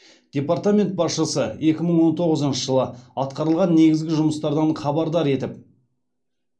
департамент басшысы екі мың он тоғызыншы жылы атқарылған негізгі жұмыстардан хабардар етіп